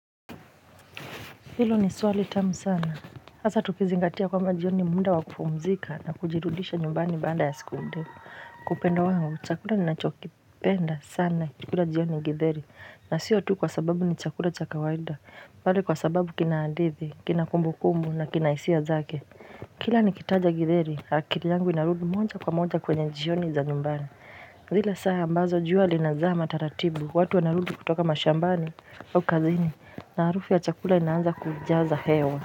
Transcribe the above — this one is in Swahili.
Hilo ni swali tamu sana, hasa tukizingatia kwamba jioni muda wa kupumzika na kujirudisha nyumbani baada ya siku ndefu. Kwa upande wangu chakula ninachokipenda sana kukula jioni githeri na sio tu kwa sababu ni chakula cha kawaida bali kwa sababu kina hadithi, kina kumbukumbu na kina hisia zake. Kila nikitaja githeri akili yangu inarudi moja kwa moja kwenye jioni za nyumbani. Zile saa ambazo jua linazama taratibu, watu wanarudi kutoka mashambani au kazini na harufu ya chakula inaanza kujaza hewa.